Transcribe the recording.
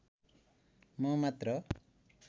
म मात्र